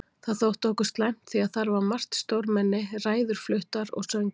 Það þótti okkur slæmt því að þar var margt stórmenni, ræður fluttar og söngvar.